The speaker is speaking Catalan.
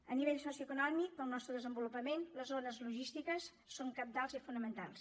a nivell socioeconòmic per al nostre desenvolupament les zones logístiques són cabdals i fonamentals